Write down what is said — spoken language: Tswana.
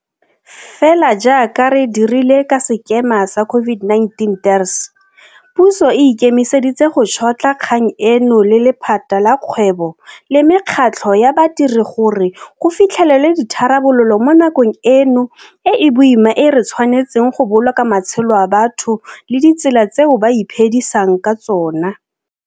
Fela jaaka re dirile ka sekema sa COVID-19 TERS, puso e ikemiseditse go tšhotlha kgang eno le lephata la kgwebo le mekgatlho ya badiri gore go fitlhelelwe ditharabololo mo nakong eno e e boima e re tshwanetseng go boloka matshelo a batho le ditsela tseo ba iphe disang ka tsona.